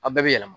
A bɛɛ bɛ yɛlɛma